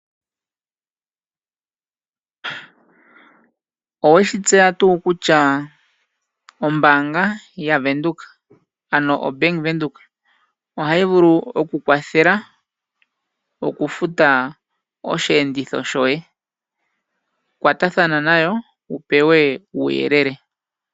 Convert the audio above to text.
Oweshi tseya tuu kutya ombaanga yavenduka, ano o Bank Windhoek, ohayi vulu okukwathela okufuta osheenditho shoye. Kwatathana nayo, wupewe uuyelele.